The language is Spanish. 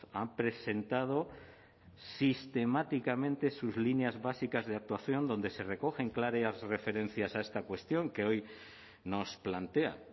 han presentado sistemáticamente sus líneas básicas de actuación donde se recogen claras referencias a esta cuestión que hoy nos plantea